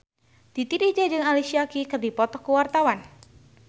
Titi DJ jeung Alicia Keys keur dipoto ku wartawan